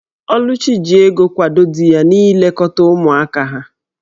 Oluchi ji ego kwado di ya n'ilekọta ụmụaka ha.